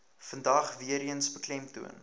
vandag weereens beklemtoon